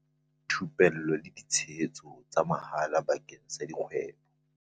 Thupello le ditshebeletso tsa mahala bakeng sa dikgwebo.